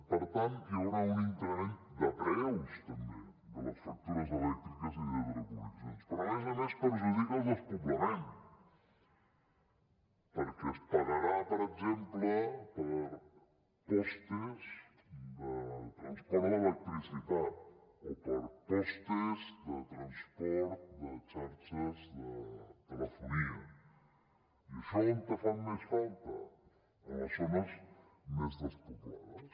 per tant hi haurà un increment de preus també de les factures elèctriques i de telecomunicacions però a més a més perjudica el despoblament perquè es pagarà per exemple pels pals de transport d’electricitat o per pals de transport de xarxes de telefonia i això on fa més falta en les zones més despoblades